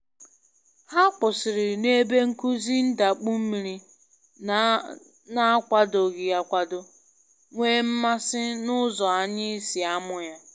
Ha kwụsịrị na ebe nkuzi ndakpu mmiri na akwadoghị akwado, nwee mmasị na ụzọ anyị si amụ ya